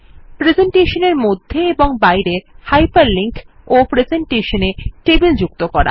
প্রেসেন্টেশনের মধ্যে ও বাইরে হাইপার লিঙ্ক এবং প্রেসেন্টেশনে টেবিল যুক্ত করা